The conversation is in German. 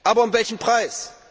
Aber um welchen Preis?